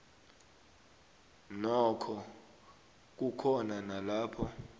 nokho kukhona nalapho